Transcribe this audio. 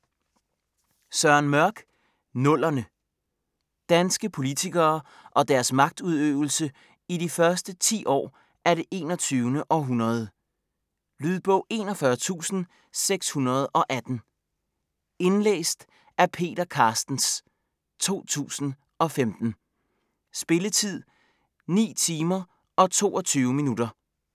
Søren Mørch: Nullerne Danske politikere og deres magtudøvelse i de første ti år af det 21. århundrede. Lydbog 41618 Indlæst af Peter Carstens, 2015. Spilletid: 9 timer, 22 minutter.